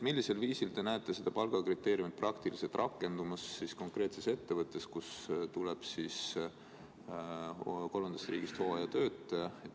Millisel viisil te näete seda palgakriteeriumi praktiliselt rakendumas konkreetses ettevõttes, kuhu tuleb kolmandast riigist hooajatöötaja?